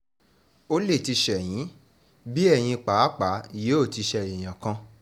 ó lè ti ṣe yín bí ẹ̀yin pàápàá yóò ti ṣe èèyàn kan